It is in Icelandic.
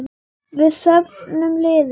Við söfnum liði.